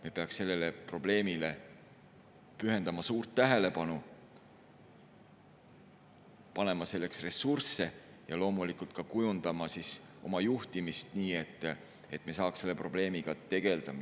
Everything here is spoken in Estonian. Me peaksime sellele probleemile pühendama suurt tähelepanu, panema selle ressursse ja loomulikult ka kujundama oma juhtimist nii, et me saaksime selle probleemiga tegelda.